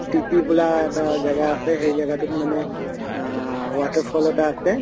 to বোলা এটা জাগা আছে সেই জাগাটোত মানে আহ water fall এটা আছে